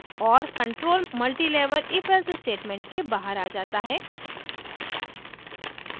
और control multilevel ifelse statement के बाहर आ जाता है